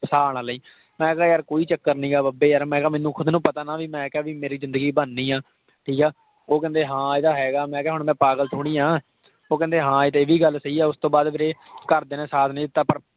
ਫਸਾ ਨਾ ਲਈਂ। ਮੈਂ ਕਿਹਾ ਯਾਰ ਕੋਈ ਚੱਕਰ ਨਹੀਂ ਹੈਗਾ ਬਾਬੇ ਯਾਰ। ਮੈਨੂੰ ਖੁਦ ਨੂੰ ਪਤਾ ਨਾ ਕਿ ਵੀ ਮੈਂ ਕਿਹਾ ਮੇਰੀ ਜਿੰਦਗੀ ਬਣਨੀ ਆ। ਠੀਕ ਆ। ਉਹ ਕਹਿੰਦੇ, ਹਾਂ ਇਹ ਤਾਂ ਹੈਗਾ। ਮੈਂ ਕਿਹਾ ਹੁਣ ਮੈਂ ਪਾਗਲ ਥੋੜੀ ਆਂ। ਉਹ ਕਹਿੰਦੇ, ਹਾਂ ਇਹ ਵੀ ਗੱਲ ਸਹੀ ਆ। ਉਸਤੋਂ ਬਾਅਦ ਵੀਰੇ ਘਰ ਦਿਆਂ ਨੇ ਸਾਥ ਨਹੀਂ ਦਿੱਤਾ ਪਰ,